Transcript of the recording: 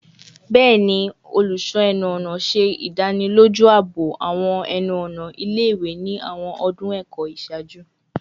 Bẹẹni, ẹnu-ọna ṣe idaniloju aabo awọn ẹnu-ọna ile-iwe ni awọn ọdun ẹkọ iṣaaju